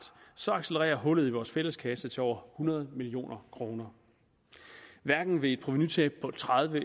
så accelererer hullet i vores fælleskasse til over hundrede million kroner hverken ved et provenutab på tredive